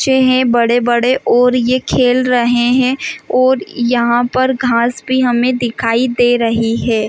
बच्चे है बड़े -बड़े और ये खेल रहे हैं और यहाँ पर घास भी हमे दिखाई दे रही है ।